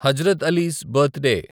Hazrat Ali's birthday